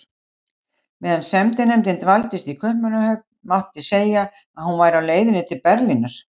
Meðan sendinefndin dvaldist í Kaupmannahöfn, mátti segja, að hún væri á leiðinni til Berlínar.